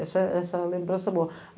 Essa essa lembrança boa.